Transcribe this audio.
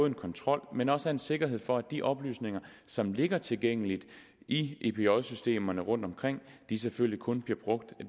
en kontrol men også en sikkerhed for at de oplysninger som ligger tilgængeligt i epj systemerne rundtomkring selvfølgelig kun bliver brugt af